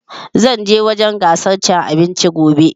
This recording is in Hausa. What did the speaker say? Zan je wurin gasar cin abinci gobe